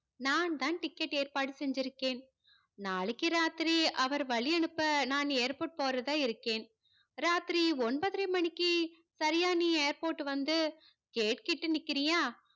நான் தான் ticket ஏற்பாடு செஞ்சிருக்கேன். நாளைக்கு ராத்திரி அவரை வழியனுப்ப நான் airport போறதா இருக்கேன். ராத்திரி ஒன்பதரை மணிக்கு சரியா நீ airport டு வந்து gate கிட்ட நிக்குறியா?